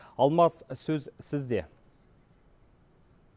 алмас сөз сізде